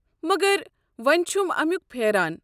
مگر وۄنۍ چھُم امِیُک پھیران۔